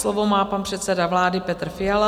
Slovo má pan předseda vlády Petr Fiala.